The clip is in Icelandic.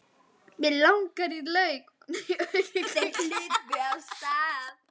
Mig að auki.